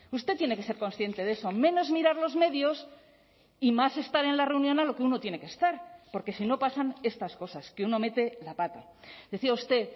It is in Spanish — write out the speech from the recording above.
usted tiene que ser consciente de eso menos mirar los medios y más estar en la reunión a lo que uno tiene que estar porque si no pasan estas cosas que uno mete la pata decía usted